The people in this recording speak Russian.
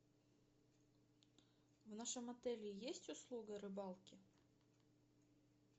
в нашем отеле есть услуга рыбалки